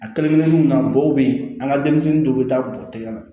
A kelenkelennaw na bɔ bɛ yen an ka denmisɛnnin dɔw bɛ taa bɔgɔtigɛ na